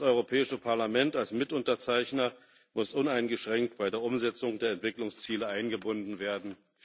Das Europäische Parlament als Mitunterzeichner muss uneingeschränkt in die Umsetzung der Entwicklungsziele eingebunden werden.